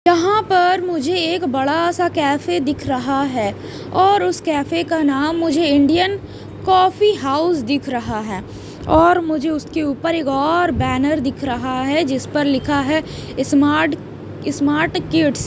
यहां पर मुझे एक बड़ा सा कैफे दिख रहा है और उस कैफे का नाम मुझे इंडियन कॉफी हाउस दिख रहा है और मुझे उसके ऊपर एक और बैनर दिख रहा है जिस पर लिखा है स्मार्ट स्मार्ट किड्स --